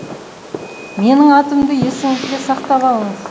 менің атымды есіңізге сақтап алыңыз